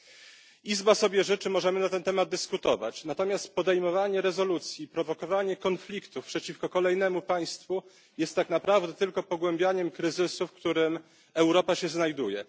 Jeśli Izba sobie życzy możemy na ten temat dyskutować, natomiast podejmowanie rezolucji, prowokowanie konfliktów przeciwko kolejnemu państwu jest tak naprawdę tylko pogłębianiem kryzysu, w którym Europa się znajduje.